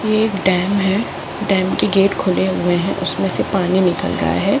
यह एक डेम है। डेम के गेट खुले हऐ हैं उसमे से पानी निकल रहा है।